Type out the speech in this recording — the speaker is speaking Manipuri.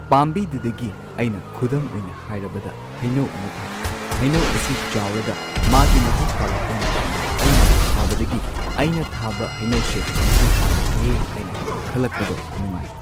ꯄꯥꯝꯕꯤꯗꯨꯗꯒꯤ ꯑꯩꯅ ꯈꯨꯗꯝ ꯑꯣꯏꯅ ꯍꯥꯏꯔꯕꯗ ꯍꯩꯅꯧ ꯑꯃ ꯊꯥꯏ ꯍꯩꯅꯧ ꯑꯁꯤ ꯆꯥꯎꯔꯒ ꯃꯥꯒꯤ ꯃꯍꯩ ꯄꯥꯜꯂꯛꯄ ꯃꯇꯝꯗ ꯑꯩꯅ ꯊꯥꯕꯗꯒꯤ ꯑꯩꯅ ꯊꯥꯕ ꯍꯩꯅꯧꯁꯦ ꯃꯍꯩ ꯄꯥꯜꯂꯛꯂꯦ ꯍꯥꯏꯅ ꯈꯜꯂꯛꯄꯗꯣ ꯅꯨꯉꯥꯏ꯫